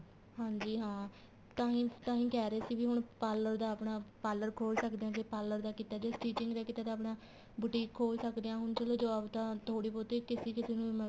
ਹਾਂਜੀ ਹਾਂ ਤਾਂਹੀ ਕਹਿ ਰਹੇ ਸੀ ਵੀ ਹੁਣ parlor ਦਾ ਆਪਣਾ parlor ਖੋਲ ਸਕਦੇ ਹਾਂ ਜ਼ੇ parlor ਦਾ ਕੀਤਾ ਜ਼ੇ stitching ਦਾ ਕੀਤਾ ਤਾਂ ਆਪਣਾ ਬੁਟੀਕ ਖੋਲ ਸਕਦੇ ਹਾਂ ਹੁਣ ਚਲੋਂ job ਤਾਂ ਥੋੜੀ ਬਹੁਤੀ ਕਿਸੇ ਕਿਸੇ ਨੂੰ